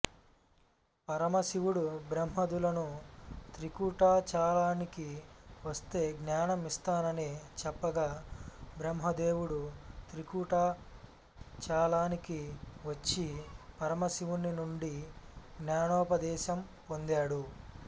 పరమశివుడు బ్రహ్మాదులను త్రికూటాచలానికి వస్తే జ్ఞానం ఇస్తానని చెప్పగా బ్రహ్మదేవుడు త్రికూటాచలానికి వచ్చి పరమశివుని నుండి జ్ఞానోపదేశం పొందాడు